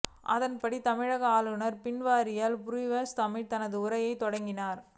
அதன்படி தமிழக ஆளுநர் பன்வாரிலால் புராஹித் தமிழில் தனது உரையைத் தொடங்கினார்